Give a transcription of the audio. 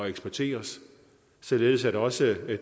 eksporteret således at også